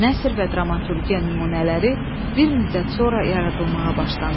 Nəsr və dramaturgiya nümunələri bir müddət sonra yaradılmağa başlandı.